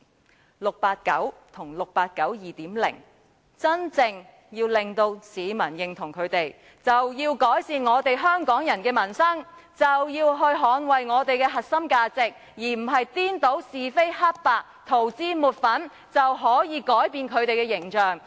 如果 "689" 和 "689 2.0" 想得到市民的真正認同，便要改善香港人的民生，捍衞我們的核心價值，而不是顛倒是非黑白，塗脂抹粉，以為這樣便可以改變他們的形象。